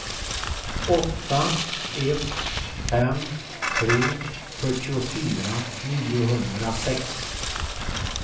åtta ett fem tre fyrtiofyra niohundrasex